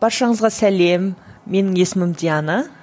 баршаңызға сәлем менің есімім диана